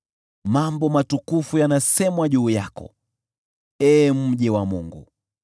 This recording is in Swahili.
Mambo matukufu yanasemwa juu yako, ee mji wa Mungu: